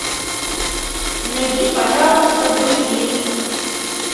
найди пожалуйста боевик